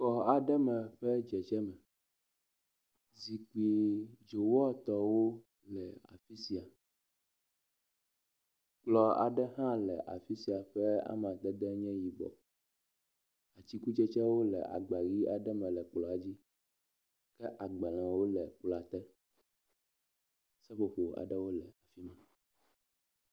Xɔ aɖe me ƒe dzedze me. Zikpui dzowɔ etɔ̃wo le afi sia. Kplɔ aɖe hã le afi sia ƒe amadede nye yibɔ. Atsikutsetsewo le agba ʋi aɖe me le kplɔ dzi ke agbalẽwo le kplɔa te. Seƒoƒo aɖewo le afi ma.